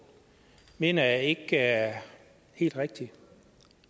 mener jeg ikke er helt rigtig